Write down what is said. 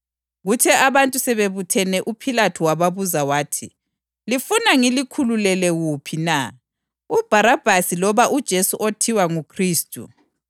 Kuthe abantu sebebuthene uPhilathu wababuza wathi, “Lifuna ngilikhululele wuphi na, uBharabhasi loba uJesu othiwa nguKhristu?”